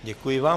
Děkuji vám.